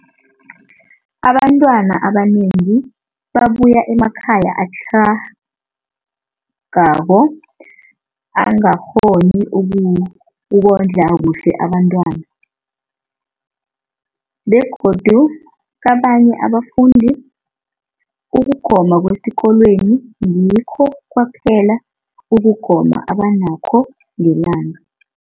Abantwana abanengi babuya emakhaya atlhagako angakghoni ukondla kuhle abentwana, begodu kabanye abafundi, ukugoma kwesikolweni ngikho kwaphela ukugoma abanakho ngelanga.